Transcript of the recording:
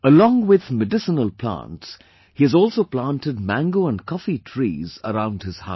Along with medicinal plants, he has also planted mango and coffee trees around his house